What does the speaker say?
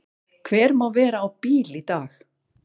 Hver má vera á bíl í dag?